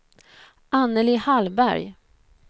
Anneli Hallberg